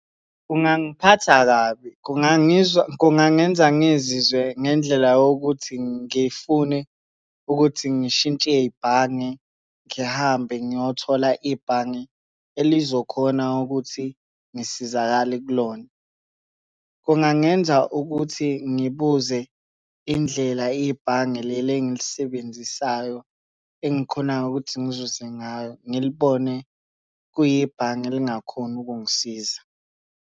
Kungangiphatha kabi, kungangenza ngizizwe ngendlela yokuthi ngifune ukuthi ngishintshe ibhange, ngihambe ngiyothola ibhange elizokhona ukuthi ngisizakale kulona. Kungangenza ukuthi ngibuze indlela ibhange leli engilisebenzisayo, engikhonayo ukuthi ngizuze ngayo ngilibone kuyibhange elingakhona ukungisiza.